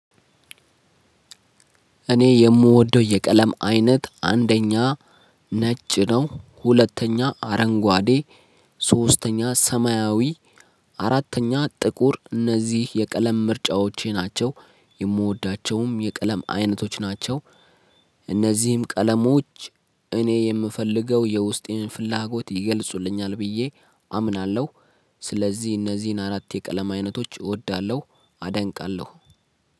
እኔ የምወደው የቀለም አይነት አንደኛ ነጭ ነው። ሁለተኛ አረንጓዴ ሶስተኛ ሰማያዊ አራተኛ ጥቁር እነዚህ የቀለም ምርጫዎቼ ናቸው። የምወዳቸውም የቀለም አይነቶች ናቸው። እነዚህም ቀለሞች እኔ የምፈልገው የውስጤን ፍላጎት ይገልጹልኛል ብዬ አምናለሁ። ስለዚህ እነዚህን አራት የቀለም አይነቶች እወዳለሁ አደንቃለሁ